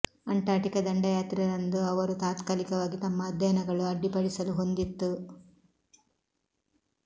Antarctica ದಂಡಯಾತ್ರೆ ರಂದು ಅವರು ತಾತ್ಕಾಲಿಕವಾಗಿ ತಮ್ಮ ಅಧ್ಯಯನಗಳು ಅಡ್ಡಿಪಡಿಸಲು ಹೊಂದಿತ್ತು